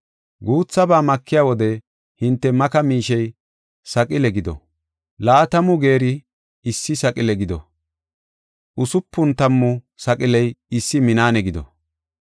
Guuthaba makiya wode hinte maka miishey saqile gido. Laatamu geeri issi saqile gido; usupun tammu saqiley issi minaane gido.